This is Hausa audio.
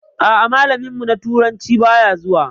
A'a, malamin mu na turanci baya zuwa.